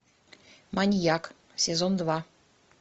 маньяк сезон два